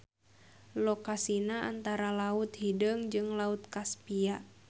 Lokasina antara Laut Hideung jeung Laut Kaspia.